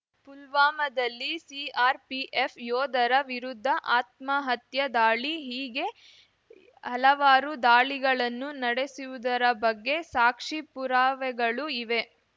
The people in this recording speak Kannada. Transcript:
ಪುಲ್ವಾಮಾದಲ್ಲಿ ಸಿಆರ್‌ಪಿಎಫ್ ಯೋಧರ ವಿರುದ್ಧ ಆತ್ಮಹತ್ಯಾ ದಾಳಿ ಹೀಗೆ ಹಲವಾರು ದಾಳಿಗಳನ್ನು ನಡೆಸಿವುದರ ಬಗ್ಗೆ ಸಾಕ್ಷಿ ಪುರಾವೆಗಳು ಇವೆ